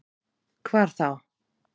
Hvar þá?